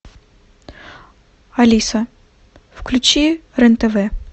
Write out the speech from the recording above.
алиса включи рен тв